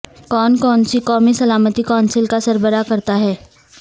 کون کون سی قومی سلامتی کونسل کا سربراہ کرتا ہے